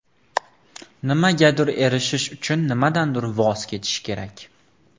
Nimagadir erishish uchun nimadandir voz kechish kerak.